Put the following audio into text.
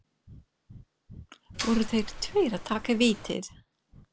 Voru þeir tveir að taka vítið?